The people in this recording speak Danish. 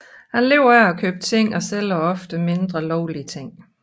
Han lever af at købe og sælge ofte mindre lovlige ting